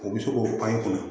O bɛ se k'o pan i kunna